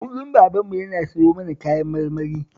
Kullum babanmu yana siyo mana kayan marmari